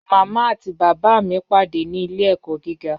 Mama àti baba mi pàdé ní ilẹ̀-ẹ̀kọ̀ gígà.